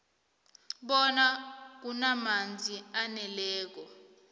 bona kunamanzi aneleko